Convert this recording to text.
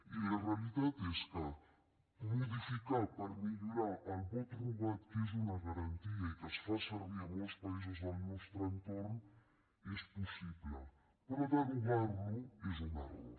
i la realitat és que modificar per millorar el vot rogat que és una garantia i que es fa servir a molts països del nostre entorn és possible però derogar lo és un error